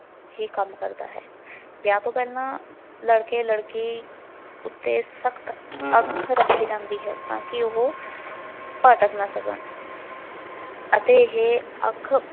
ਹੀ ਕੰਮ ਕਰਦਾ ਹੈ। ਵਿਆਹ ਤੋਂ ਪਹਿਲਾ ਲੜਕੇ ਲੜਕੀ ਉਤੇ ਸਖਤ ਅੱਖ ਰੱਖੀ ਜਾਂਦੀ ਤਾਂ ਕਿ ਉਹ ਭਟਕ ਨਾ ਸਕਣ ਅਤੇ ਇਹ ਅੱਖ